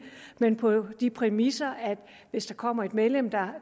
men på de præmisser at hvis der kommer et medlem der